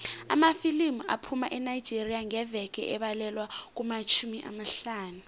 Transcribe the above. amafilimu aphuma enigeria ngeveke abalelwa kumatjhumi amahlanu